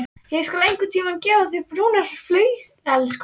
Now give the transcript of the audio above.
Ég skal einhverntíma gefa þér brúnar flauelsbuxur.